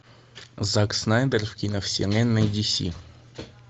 зак снайдер в киновселенной ди си